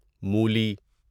مولی